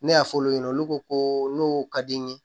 Ne y'a fɔ olu ɲɛna olu ko ko n'o ka di n ye